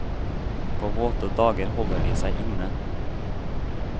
På våte dager holder de seg inne.